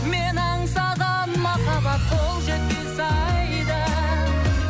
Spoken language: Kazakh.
мен аңсаған махаббат қол жетпес айда